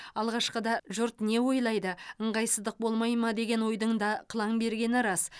алғашқыда жұрт не ойлайды ыңғайсыздық болмай ма деген ойдың да қылаң бергені рас